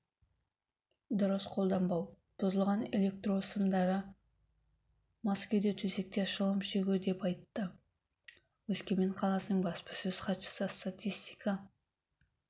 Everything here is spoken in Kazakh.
дұрыс қолданбау бұзылған электрсымдары мас күйде төсекте шылым шегу деп айтты өскемен қаласының баспасөз-хатшысы статистика